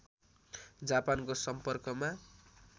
जापानको सम्पर्कमा